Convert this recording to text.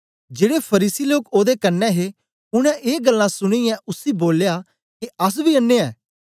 जेड़े फरीसी लोक ओदे कन्ने हे उनै ए गल्लां सुनीयै उसी बोलया के अस बी अन्नें ऐ